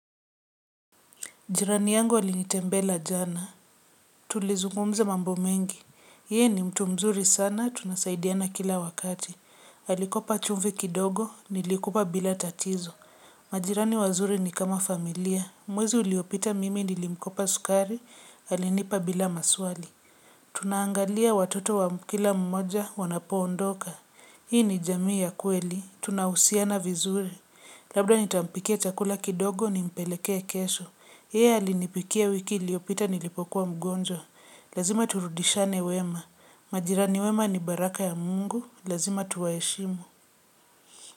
Jirani yangu alinitembela jana. Tulizungumza mambo mengi. Yeye ni mtu mzuri sana, tunasaidiana kila wakati. Alikopa chumvi kidogo, nilikupa bila tatizo. Majirani wazuri ni kama familia. Mwezi uliopita mimi nilimkopa sukari, alinipa bila maswali. Tunaangalia watoto wa kila mmoja wanapoondoka. Hii ni jamii ya kweli, tunahusiana vizuri. Labda nitampikia chakula kidogo nimpelekee kesho. Yeye alinipikia wiki iliyopita nilipokuwa mgonjwa. Lazima turudishane wema. Majirani wema ni baraka ya mungu. Lazima tuwaheshimu.